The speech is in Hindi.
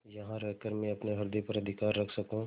यहाँ रहकर मैं अपने हृदय पर अधिकार रख सकँू